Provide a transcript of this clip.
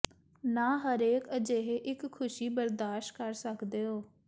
ਨਾ ਹਰੇਕ ਅਜਿਹੇ ਇੱਕ ਖੁਸ਼ੀ ਬਰਦਾਸ਼ਤ ਕਰ ਸਕਦੇ ਹੋ